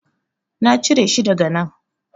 Na cire shi daga nan.